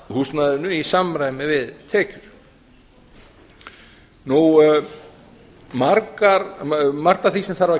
húsnæðinu í samræmi við tekjur margt af því sem þarf að